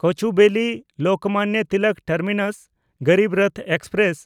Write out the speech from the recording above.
Cooch Behar-Lokmanya Tilak terminus Garib Rath express